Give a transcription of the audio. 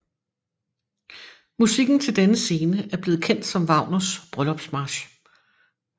Musikken til denne scene er blevet kendt som Wagners bryllupsmarch